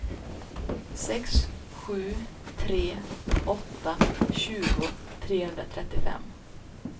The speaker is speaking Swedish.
sex sju tre åtta tjugo trehundratrettiofem